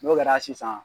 N'o kɛra sisan